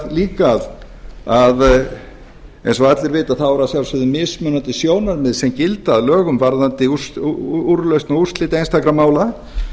líka að eins og allir vita eru að sjálfsögðu mismunandi sjónarmið sem gilda að lögum varðandi úrlausn og úrslit einstakra mála